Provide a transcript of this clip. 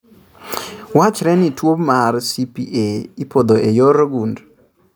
Wachre ni tuobmar CPA ipodho e yor gund .